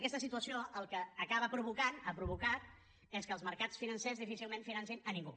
aquesta situació el que acaba provocant ha provocat és que els mercats financers difícilment financin ningú